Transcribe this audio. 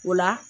O la